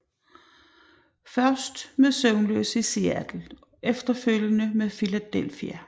Først med Søvnløs i Seattle og efterfølgende med Philadelphia